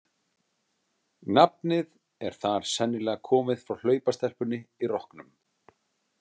Nafnið er þar sennilega komið frá hlaupastelpunni í rokknum.